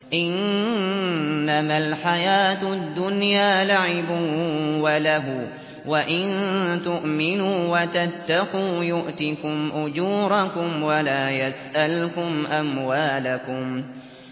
إِنَّمَا الْحَيَاةُ الدُّنْيَا لَعِبٌ وَلَهْوٌ ۚ وَإِن تُؤْمِنُوا وَتَتَّقُوا يُؤْتِكُمْ أُجُورَكُمْ وَلَا يَسْأَلْكُمْ أَمْوَالَكُمْ